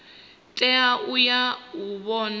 tea u ya u vhona